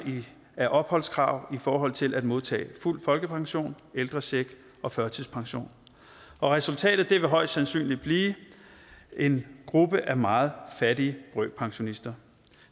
af opholdskrav i forhold til at modtage fuld folkepension ældrecheck og førtidspension resultatet vil højst sandsynligt blive en gruppe af meget fattige brøkpensionister